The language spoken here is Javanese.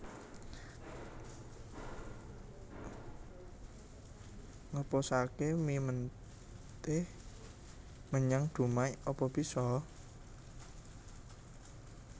Ngeposake mie menteh menyang Dumai apa biso